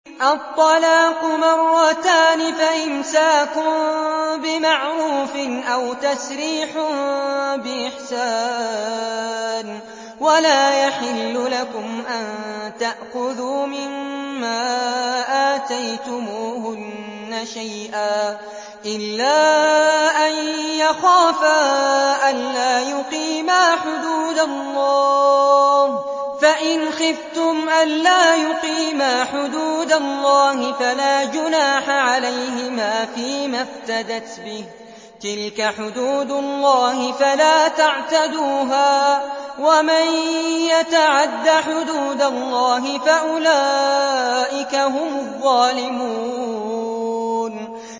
الطَّلَاقُ مَرَّتَانِ ۖ فَإِمْسَاكٌ بِمَعْرُوفٍ أَوْ تَسْرِيحٌ بِإِحْسَانٍ ۗ وَلَا يَحِلُّ لَكُمْ أَن تَأْخُذُوا مِمَّا آتَيْتُمُوهُنَّ شَيْئًا إِلَّا أَن يَخَافَا أَلَّا يُقِيمَا حُدُودَ اللَّهِ ۖ فَإِنْ خِفْتُمْ أَلَّا يُقِيمَا حُدُودَ اللَّهِ فَلَا جُنَاحَ عَلَيْهِمَا فِيمَا افْتَدَتْ بِهِ ۗ تِلْكَ حُدُودُ اللَّهِ فَلَا تَعْتَدُوهَا ۚ وَمَن يَتَعَدَّ حُدُودَ اللَّهِ فَأُولَٰئِكَ هُمُ الظَّالِمُونَ